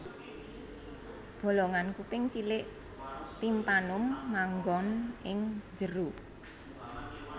Bolongan kuping cilik timpanum manggon ing njero